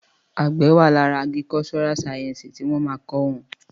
Àgbẹ wà làrá àgíríkọsọrà sàyẹnsí ti wón ma kọ́ wọn